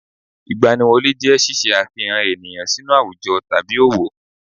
Ìgbaniwọlé jẹ́ ṣíṣe àfihàn ènìyàn sínú àwùjọ tàbí òwò